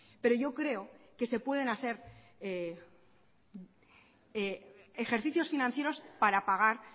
pero yo creo que se pueden hacer ejercicios financieros para pagar